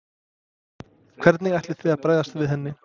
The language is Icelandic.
Hvernig ætlið þið að bregðast við henni?